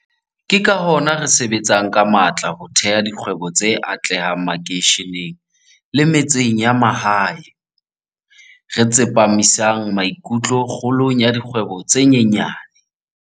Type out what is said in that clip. Ke ka hona re sebetsang ka matla ho theha dikgwebo tse atlehang makeisheneng le metseng ya mahae, re tsepa misang maikutlo kgolong ya dikgwebo tse nyenyane.